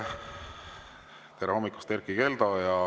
Tere hommikust, Erkki Keldo!